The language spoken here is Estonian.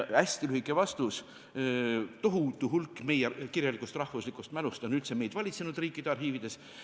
Hästi lühike vastus: tohutu hulk meie kirjalikust rahvusmälust on tallel meid valitsenud riikide arhiivides.